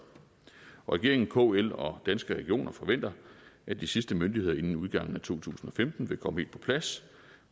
regeringen kl og danske regioner forventer at de sidste myndigheder inden udgangen af to tusind og femten vil komme helt på plads